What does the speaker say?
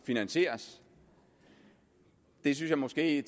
finansieres synes jeg måske at